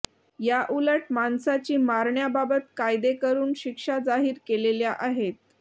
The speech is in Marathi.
याउलट माणसाची मारण्याबाबत कायदे करून शिक्षा जाहीर केलेल्या आहेत